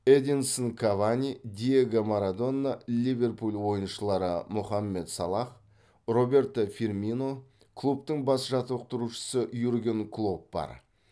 эдинсон кавани диего марадона ливерпуль ойыншылары мохаммед салах роберто фирмино клубтың бас жаттықтырушысы юрген клопп бар